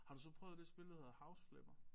Har du så prøvet det spil der hedder House Flipper